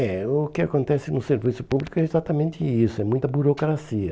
É, o que acontece no serviço público é exatamente isso, é muita burocracia.